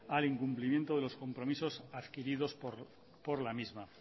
al incumplimiento de los compromisos adquiridos por la misma